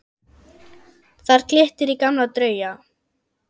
Þar glittir í gamla drauga.